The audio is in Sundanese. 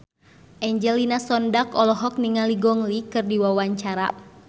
Angelina Sondakh olohok ningali Gong Li keur diwawancara